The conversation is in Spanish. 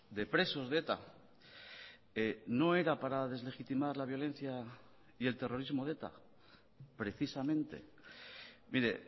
de presos de eta no era para deslegitimar la violencia y el terrorismo de eta precisamente mire